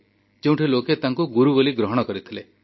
ଯେଉଁଠି ଲୋକେ ତାଙ୍କୁ ଗୁରୁ ବୋଲି ଗ୍ରହଣ କରିଥିଲେ